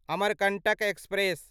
Amarkantak express